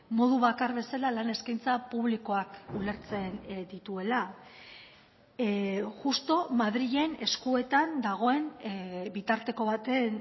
modu bakar bezala lan eskaintza publikoak ulertzen dituela justu madrilen eskuetan dagoen bitarteko baten